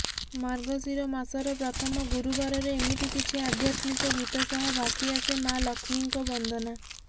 ମାର୍ଗଶୀର ମାସର ପ୍ରଥମ ଗୁରୁବାରରେ ଏମିତି କିଛି ଆଧ୍ୟାତ୍ମିକ ଗୀତ ସହ ଭାସିଆସେ ମାଆ ଲକ୍ଷ୍ମୀଙ୍କ ବନ୍ଦନା